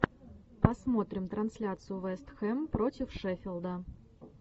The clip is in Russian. посмотрим трансляцию вест хэм против шеффилда